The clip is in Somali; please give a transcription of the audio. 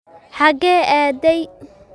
xagee aaday